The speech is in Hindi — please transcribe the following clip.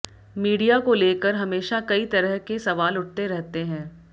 मीडिया को लेकर हमेशा कई तरह के सवाल उठते रहते हैं